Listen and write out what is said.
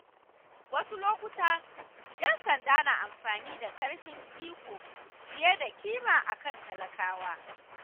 Wasu lokuta, ‘yan sanda na amfani da ƙarfin iko fiye da kima akan talakawa.